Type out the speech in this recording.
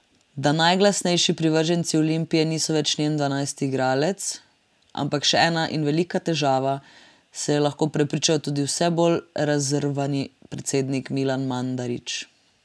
Da najglasnejših privrženci Olimpije niso več njen dvanajsti igralec, ampak še ena in velika težava, se je lahko prepričal tudi vse bolj razrvani predsednik Milan Mandarić.